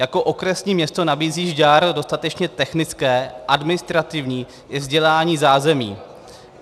Jako okresní město nabízí Žďár dostatečně technické, administrativní i vzdělání zázemí.